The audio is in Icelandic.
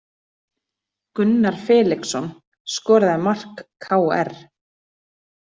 Gunnar Felixson skoraði mark KR